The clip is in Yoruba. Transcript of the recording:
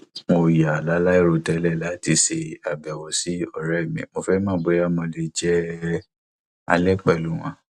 mo yà láìròtẹlẹ láti ṣe àbẹwò sí òré mi mo fẹ mọ bóyá mo lè jẹ alẹ pẹlú wọn